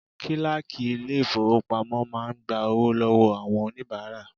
Kíláàkì ilé ìfowópamọ́ máa ń gba owó lọ́wọ́ àwọn oníbàárà.